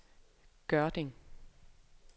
Gørding